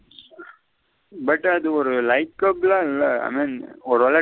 But அது ஒரு ஒரு வேள.